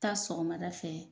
Taa sɔgɔmada fɛ